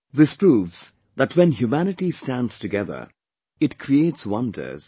This proves that when humanity stands together, it creates wonders